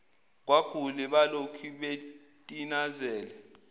kwagule balokhu betinazele